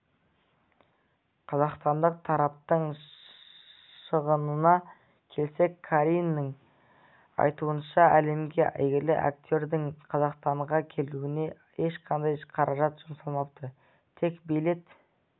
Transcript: қазақстандық тараптың шығынына келсек қариннің айтуынша әлемге әйгілі актердің қазақстанға келуіне ешқандай қаражат жұмсалмапты тек билет